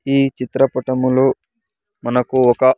ఈ చిత్రపటములో మనకు ఒక.